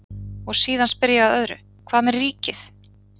Og síðan spyr ég að öðru, hvað með ríkið?